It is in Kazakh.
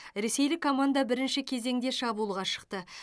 ресейлік команда бірінші кезеңде шабуылға шықты